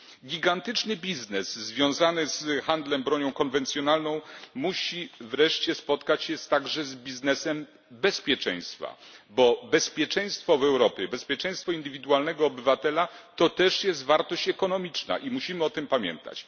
Gigantyczny biznes związany z handlem bronią konwencjonalną musi wreszcie spotkać się także z biznesem bezpieczeństwa, bo bezpieczeństwo w Europie, bezpieczeństwo indywidualnego obywatela, to też wartość ekonomiczna i musimy o tym pamiętać.